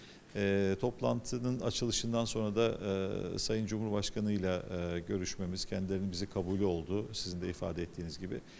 Eee iclasın açılışından sonra da eee Cənab Prezidentlə eee görüşümüz, onların bizi qəbul etməsi oldu, sizin də ifadə etdiyiniz kimi.